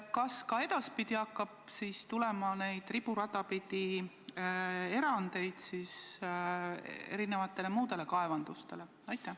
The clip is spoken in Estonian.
Ja kas edaspidi hakkab riburada pidi tulema erandeid muudele kaevandustele?